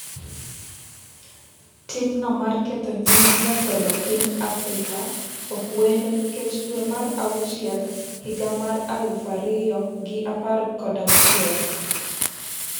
timno mar ketho nying jatelo piny Afrika ok wendo nikech dwe mar auchiel higa mar alufu ariyo gi par kod auchiel